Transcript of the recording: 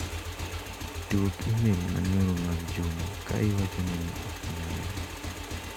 Duok imel manyoro mag Juma ka iwacho ne ni ok nyalre.